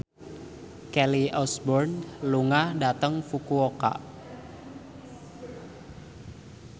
Kelly Osbourne lunga dhateng Fukuoka